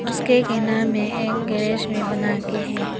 उसके किनारे में एक गेराज में बना के है।